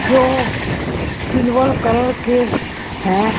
जो silver colour के हैं।